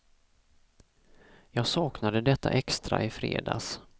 Jag saknade detta extra i fredags.